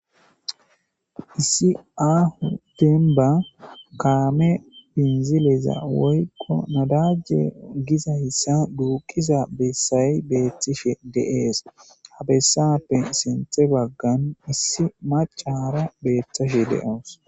issi aaho denba kaame binzileza woyko nadajje giza issa duuqiza bessayi beetishe de'ees ha bessappe sinthe baggan issi macara beetashe de'awus